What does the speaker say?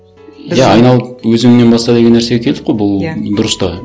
иә айналып өзіңнен баста деген нәрсеге келдік қой бұл дұрыс та